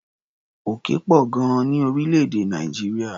Òkè pọ̀ gan-an ní orílẹ̀-èdè Nàìjíríà.